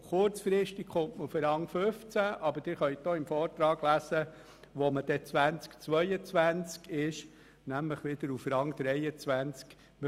Kurzfristig erreicht man den 15. Rang, aber im Vortrag sehen Sie auch, dass man im Jahr 2022 wieder auf dem 23. Rang liegen wird.